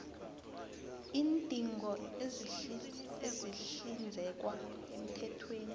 iindingo ezihlinzekwa emthethweni